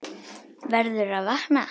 Verður að vakna.